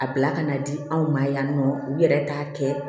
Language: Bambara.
A bila ka na di anw ma yan nɔ u yɛrɛ t'a kɛ